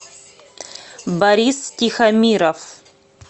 борис тихомиров